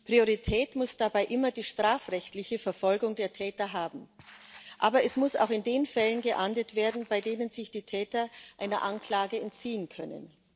Priorität muss dabei immer die strafrechtliche Verfolgung der Täter haben, aber es muss auch in den Fällen geahndet werden, bei denen sich die Täter einer Anklage entziehen können.